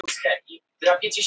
En það var öðru nær.